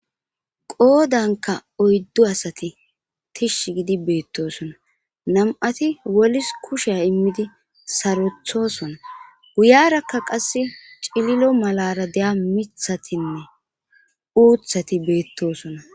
Qoodanka oyddu asati tishsh gidi beettosona nam'ati wolis kushea immidi sarothosona guyarakka qass cililo malara deya mithatinne uuthati beettosona.